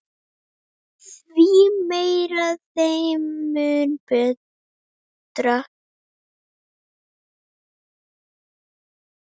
Því meira þeim mun betra.